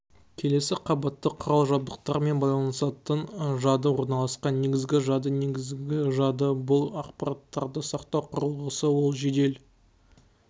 келесі қабатта құрал-жабдықтармен байланысатын жады орналасқан негізгі жады негізгі жады бұл ақпараттарды сақтау құрылғысы ол жедел